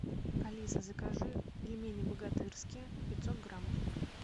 алиса закажи пельмени богатырские пятьсот граммов